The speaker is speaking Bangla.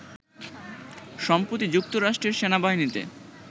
সম্প্রতি যুক্তরাষ্ট্রের সেনাবাহিনীতে